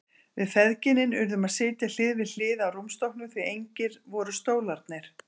Við feðginin urðum að sitja hlið við hlið á rúmstokknum því engir voru stólarnir.